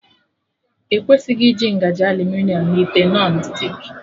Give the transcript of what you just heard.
Ekwesịghị iji ngaji aluminiọm na ite Nọn stik